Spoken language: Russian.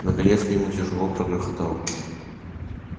наконец мимо тяжело прогрохотал